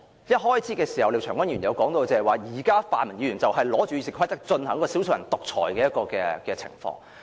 廖長江議員在開始發言時提及現時泛民議員利用《議事規則》進行"少數人獨裁"的情況。